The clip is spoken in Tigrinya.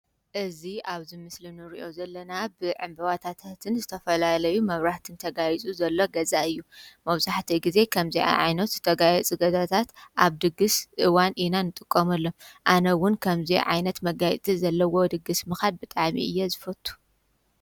እዙ ኣብዝ ምስሊ ንርእዮ ዘለና ብዕምበዋታታህትን ዝተፈላለዩ መብራህትን ተጋይጹ ዘሎ ገፃ እዩ መውሳሕተ ጊዜ ከምዚኣ ዓይኖት ዝተጋዮ ጽገታታት ኣብ ድግሥ እዋን ኢናን ጥቆሙ ኣሎ ኣነውን ከምዙ ዓይነት መጋይቲ ዘለዎ ድግሥ ምኻድ ብጣሚ እየ ዝፈቱ